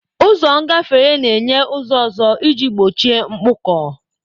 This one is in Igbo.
Ụzọ ngafere na-enye ụzọ ọzọ iji gbochie mkpọkọ.